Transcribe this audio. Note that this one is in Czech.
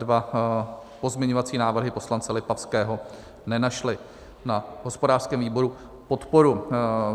Dva pozměňovací návrhy poslance Lipavského nenašly na hospodářském výboru podporu.